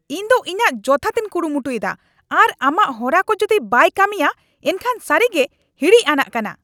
ᱤᱧ ᱫᱚ ᱤᱧᱟᱜ ᱡᱚᱛᱷᱟᱛᱤᱧ ᱠᱩᱨᱩᱢᱩᱴᱩᱭᱮᱫᱟ ᱟᱨ ᱟᱢᱟᱜ ᱦᱚᱨᱟ ᱠᱚ ᱡᱩᱫᱤ ᱵᱟᱭ ᱠᱟᱹᱢᱤᱭᱟ ᱮᱱᱠᱷᱟᱱ ᱥᱟᱹᱨᱤᱜᱮ ᱦᱤᱸᱲᱤᱡ ᱟᱱᱟᱜ ᱠᱟᱱᱟ ᱾